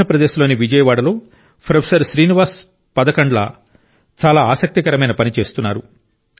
ఆంధ్రప్రదేశ్లోని విజయవాడలో ప్రొఫెసర్ శ్రీనివాస్ పదకాండ్ల గారు చాలా ఆసక్తికరమైన పని చేస్తున్నారు